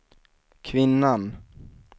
kvinnan